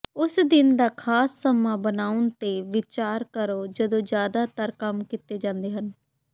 ਉਸ ਦਿਨ ਦਾ ਖਾਸ ਸਮਾਂ ਬਣਾਉਣ ਤੇ ਵਿਚਾਰ ਕਰੋ ਜਦੋਂ ਜ਼ਿਆਦਾਤਰ ਕੰਮ ਕੀਤੇ ਜਾਂਦੇ ਹਨ